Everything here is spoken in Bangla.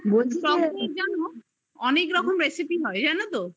টকদই দিয়ে অনেক রকম recipe হয় জানো তো